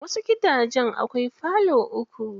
Wasu gidanjen akwai falo uku.